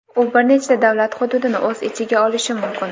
u bir nechta davlat hududini o‘z ichiga olishi mumkin.